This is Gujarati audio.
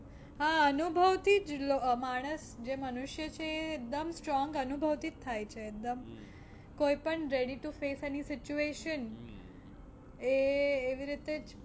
હા અનુભવથી જ માણસ જે મનુષ્ય છે એકદમ strong અનુભવથી જ થાય છે એકદમ કોઈ પણ ready to face any situation એ એવી રીતે જ